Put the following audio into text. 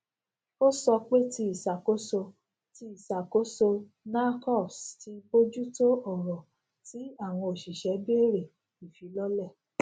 ò sọ pé tí ìṣàkóso tí ìṣàkóso nahcos ti bojùtò ọrọ tí àwọn òṣìṣẹ béèrè ìfilọlẹ